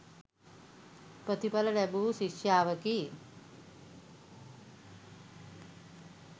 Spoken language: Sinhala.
ප්‍රතිඵල ලැබූ ශිෂ්‍යාවකි.